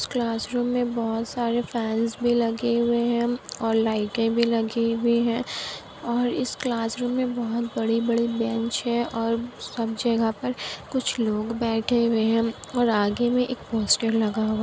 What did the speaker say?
इस क्लासरूम मे बोहोत सारे फेन्स भी लगे हुए हैं और लाइटे भी लगी हुई है। और इस क्लासरूम मे बोहोत बड़े-बड़े बेंच है और सब जगह पर कुछ लोग बैठे हुए हैं। और आगे मे एक पोस्टर लगा हुआ --